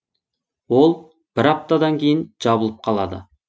ол бір аптадан кейін жабылып қалады